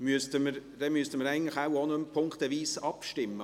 Dann müssten wir wohl auch nicht mehr punktweise abstimmen.